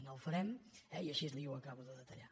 no ho farem i així li ho acabo de detallar